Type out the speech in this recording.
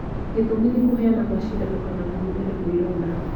gĩtũmi nĩ kũheana cindano kana kũhutania kwa ironda